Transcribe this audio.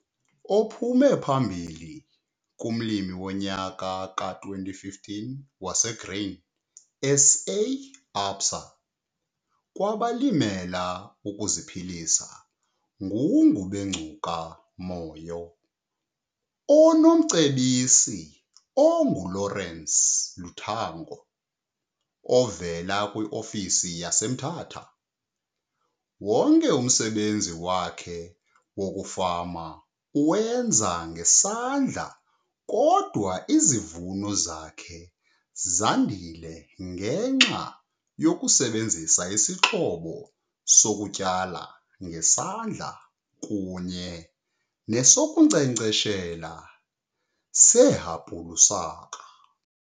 Ophume phambili kuMlimi woNyaka ka-2015 waseGrain SA, ABSA kwabaLimela ukuziPhilisa nguNgubengcuka Moyo onomcebisi onguLawrence Lutango ovela kwiofisi yaseMthatha. Wonke umsebenzi wakhe wokufama uwenza ngesandla kodwa izivuno zakhe zandile ngenxa yokusebenzisa isixhobo sokutyala ngesandla kunye nesokunkcenkcesha sehapulusaka.